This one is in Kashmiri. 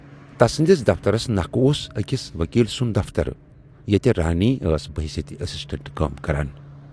تَسٕندِس دفترس نکھٕ اوس ٲکِس وکیٖل سُند دفتر ییتہِ رانیؔ ٲس بحیثیت اسسٹنٹ کٲم کَران۔